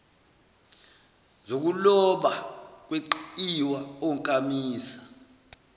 zokuloba kweqiwa onkamisa